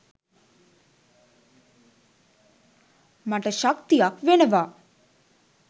මට ශක්තියක් වෙනවා